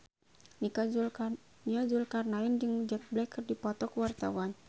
Nia Zulkarnaen jeung Jack Black keur dipoto ku wartawan